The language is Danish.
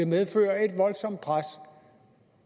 medføre et voldsomt pres